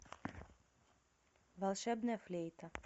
волшебная флейта